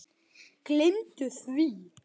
Gleymdu því!